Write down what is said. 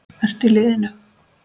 Ertu í liðinu?